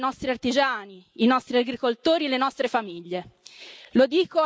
e hanno penalizzato i nostri artigiani, i nostri agricoltori e le nostre famiglie.